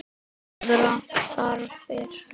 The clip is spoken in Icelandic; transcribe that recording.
Aðrar þarfir.